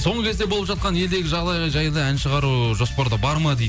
соңғы кезде болып жатқан елдегі жағдайға жайлы ән шығару жоспарда бар ма дейді